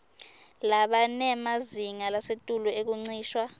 labanemazinga lasetulu ekuncishwa